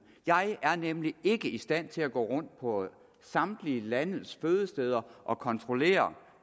jeg er nemlig ikke i stand til at gå rundt på samtlige landets fødesteder og kontrollere